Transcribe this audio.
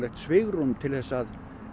svigrúm til að